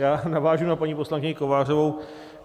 Já navážu na paní poslankyni Kovářovou.